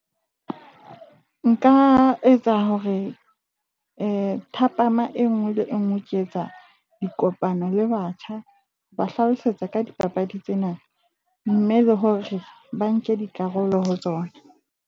Nka etsa hore thapama engwe le engwe ke etsa dikopano le batjha ka ba hlalosetsa ka dipapadi tsena. Mme le hore ba nke dikarolo ho tsona.